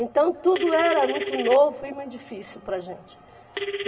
Então, tudo era muito novo e muito difícil para a gente.